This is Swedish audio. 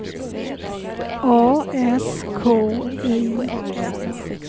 A S K I M